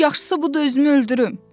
Yox, yaxşısı budur özümü öldürüm.